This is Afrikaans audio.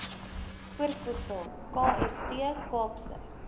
voorvoegsel kst kaapse